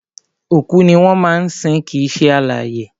Òkú ni wọ́n máa ń sin kìí ṣe alààyè